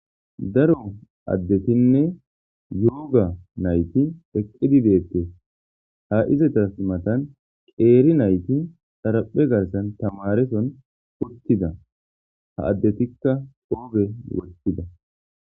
Daro adetinne yooga nayti eqidi detes. Ha izeta matan qeeri nayti xaraphe garsan tamareson utida, ha adetika qope wothida.